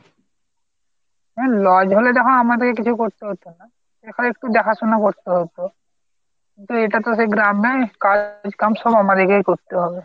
হ্যাঁ lodge হলে তখন আমাদের কে কিছু করতে হত না। ঐতো একটু দেখা শোনা করতে হত কিন্তু এটা তো সেই গ্রামের কাজ কম সব আমাদেরকেই করতে হবে।